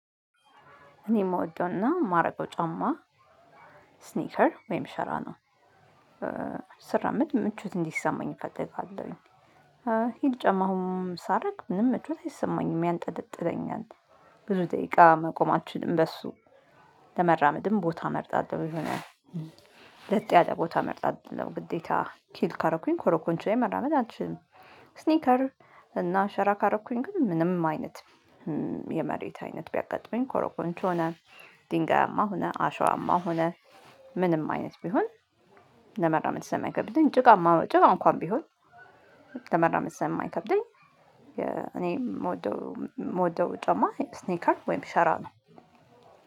እኔ የምወደውና የማረገው ጫማ ስኒከር ወይም ሸራ ነው። ስራመድ ምቾት እንዲሰማኝ እፈልጋለሁኝ። ሂል ጫማ አሁን ሳደርግ ምንም ምቾት አይሰማኝም ያንጠለጥለኛል። ብዙ ደቂቃ መቆም አልችልም በሱ። ለመራመድም ቦታ እመርጣለሁ ይሆናል። ለጥ ያለ እመርጣለሁ ግዴታ ሂል ካደረኩኝ ኮረኮንች ላይ መራመድ አልችልም። ስኒከር እና ሸራ ካረኩኝ ግን ምንም አይነት የመሬት አይነት ቢያጋጥመኝ ኮረኮንች ሆነ ድንጋያማ ሆነ አሸዋማ ሆነ ምንም አይነት ቢሆን ለመራመድ ስለማይከብደኝ ጭቃማ ጭቃ እንኳን ቢሆን ለመራመድ ስለማይከብደኝ እኔ የምወደው የምወደው ጫማ ስኒከር ወይም ሸራ ነው።